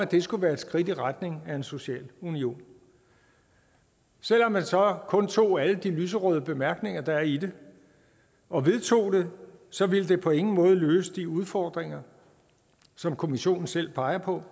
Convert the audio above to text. det skulle være et skridt i retning af en social union selv om man så kun tog alle de lyserøde bemærkninger der er i det og vedtog det så ville det på ingen måde løse de udfordringer som kommissionen selv peger på